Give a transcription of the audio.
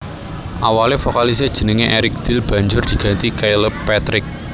Awalé vokalisé jenengé Eric Dill banjur diganti Kyle Patrick